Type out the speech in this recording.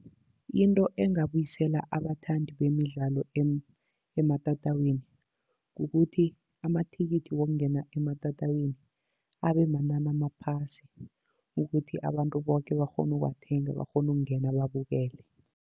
Into engabuyisela abathandi bemidlalo ematatawini, kukuthi amathikithi wokungena ematatawini abe manani amaphasi. Ukuthi abantu boke bakghone ukuwathenga, bakghone ukungena babukele.